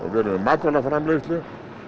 matvælaframleiðslu